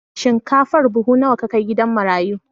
Shinkafar buhu nawa ka kai gida marayu?